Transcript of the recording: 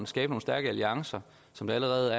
skabe nogle stærke alliancer som der allerede